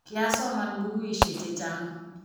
kiasoman bukuishe chechang